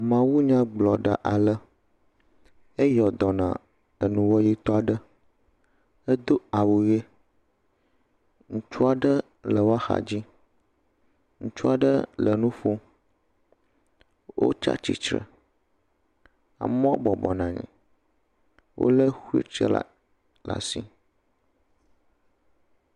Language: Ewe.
Mawunyagblɔɖa ale eyɔdɔ na enuwɔyitɔ aɖe, edo awu ɣe; ŋutsu aɖe le woaxadzi ŋutsu aɖe le nuƒo wotsatsitre, amewo bɔbɔnɔ anyi, wole wheelchairla ɖe asi.